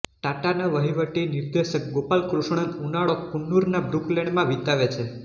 ટાટાના વહીવટી નિર્દેશક ગોપાલકૃષ્ણન ઉનાળો કુન્નુરના બ્રુકલેન્ડમાં વિતાવે છે